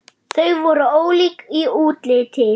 Þau voru ólík í útliti.